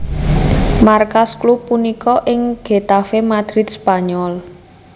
Markas klub punika ing Getafe Madrid Spanyol